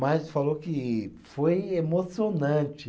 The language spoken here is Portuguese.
Mas falou que foi emocionante.